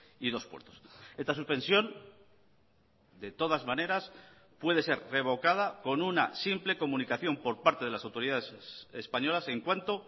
y dos puertos esta suspensión de todas maneras puede ser revocada con una simple comunicación por parte de las autoridades españolas en cuanto